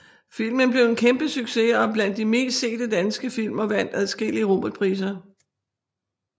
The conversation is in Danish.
Filmen blev en kæmpe succes og er blandt de mest sete danske film og vandt adskillige Robertpriser